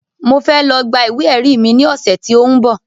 Mo fẹ́ lọ gba ìwé ẹ̀rí mi ní ọ̀sẹ̀ tí ó ń bọ̀